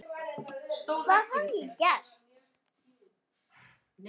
Hvað hafði ég gert?